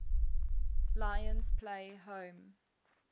lions play home